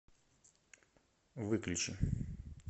выключи